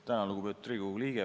Tänan, lugupeetud Riigikogu liige!